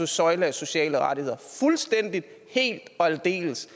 søjle af sociale rettigheder fuldstændig helt og aldeles